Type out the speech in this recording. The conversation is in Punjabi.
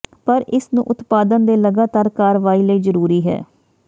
ਪਰ ਇਸ ਨੂੰ ਉਤਪਾਦਨ ਦੇ ਲਗਾਤਾਰ ਕਾਰਵਾਈ ਲਈ ਜ਼ਰੂਰੀ ਹੈ